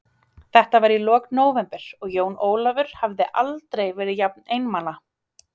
Þetta var í lok nóvember og Jón Ólafur hafði aldrei verið jafn einmana.